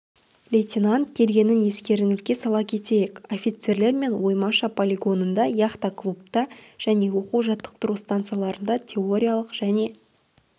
лейтенант келгенін естеріңізге сала кетейік офицерлермен оймаша полигонында яхта клубта және оқу-жаттықтыру станцияларында теориялық және